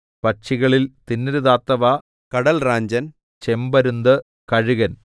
പക്ഷികളിൽ തിന്നരുതാത്തവ കടൽറാഞ്ചൻ ചെമ്പരുന്ത് കഴുകൻ